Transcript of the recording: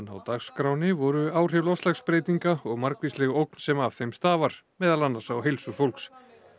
á dagskránni voru áhrif loftslagsbreytinga og margvísleg ógn sem af þeim stafar meðal annars á heilsu fólks